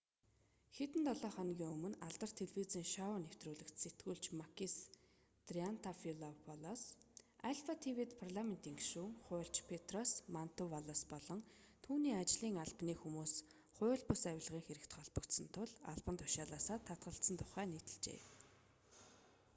хэдэн долоо хоногийн өмнө алдарт телевизийн шоу нэвтрүүлэгт сэтгүүлч макис триантафилопулос альфа тв-д парламентын гишүүн хуульч петрос мантувалос болон түүний ажлын албаны хүмүүс хууль бус авилгын хэрэгт холбогдсон тул албан тушаалаасаа татгалзсан тухай нийтэлжээ